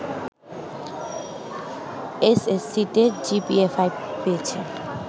এসএসসিতে জিপিএ-৫ পেয়েছে